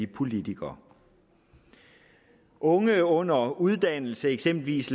politikere unge under uddannelse eksempelvis